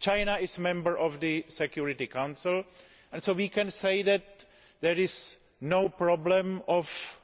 China is a member of the Security Council, and so we can say that there is no problem of